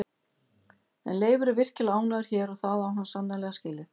En Leifur er virkilega ánægður hér og það á hann sannarlega skilið.